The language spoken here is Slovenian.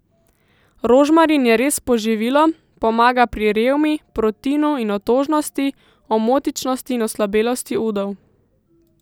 Rožmarin je res poživilo, pomaga pri revmi, protinu in otožnosti, omotičnosti in oslabelosti udov.